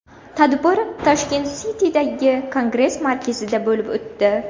Tadbir Tashkent City’dagi Kongress markazida bo‘lib o‘tdi.